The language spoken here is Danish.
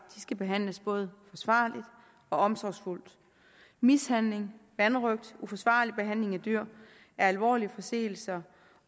skal behandles både forsvarligt og omsorgsfuldt mishandling vanrøgt og uforsvarlig behandling af dyr er alvorlige forseelser